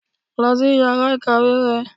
lú sí íyará ikáwe rẹ